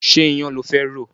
Ṣé iyan lo fẹ́ rò?